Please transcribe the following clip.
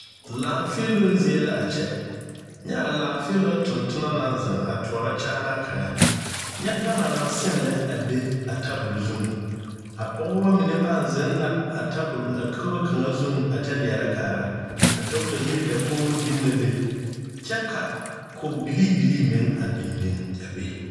Laafeeloŋ zie la a kyɛ nyɛ a laafeeloŋ tontona naŋ zeŋ a toɔrɔ kyaana kaŋa nyɛ gama naŋ seŋ lɛ a biŋ be a tabol zuŋ a pɔgeba mine pãã zeŋ la a tabol a kogo kaŋa zuŋ a kyɛ leɛrɛ kaara a dɔɔtayiri dakogri biŋ la a be kyɛ ka kogi bilii bilii meŋ biŋ biŋ a be.